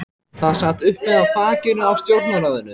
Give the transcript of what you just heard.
Það sat uppi á þakinu á stjórnarráðinu.